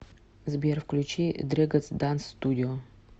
сбер включи дрэгонз данс студио